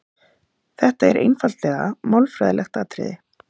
Þetta er einfaldlega málfræðilegt atriði.